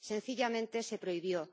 Sencillamente, se prohibió.